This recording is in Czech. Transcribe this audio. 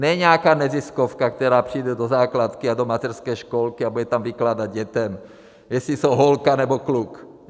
Ne nějaká neziskovka, která přijde do základky a do mateřské školky a bude tam vykládat dětem, jestli jsou holka nebo kluk.